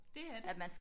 Det er det